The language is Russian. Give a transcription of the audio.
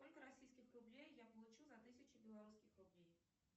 сколько российских рублей я получу за тысячу белорусских рублей